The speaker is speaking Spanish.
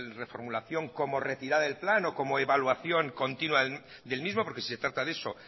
reformulación como retirada del plan o como evaluación continua del mismo porque se trata de eso